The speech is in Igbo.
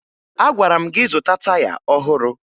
Agwara m gị zụta taya ọhụrụ!